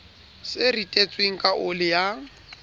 se ritetsweng ka oli ya